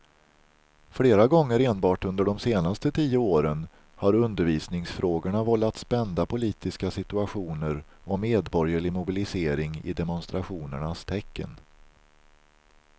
Flera gånger enbart under de senaste tio åren har undervisningsfrågorna vållat spända politiska situationer och medborgerlig mobilisering i demonstrationernas tecken.